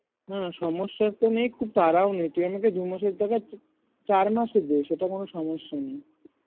না না সমস্যা তো নেই খুব তারাও নেই তুই আমাকে দু মাসের জায়গায় চার মাসে দে সেটা কোনো সমস্যা নেই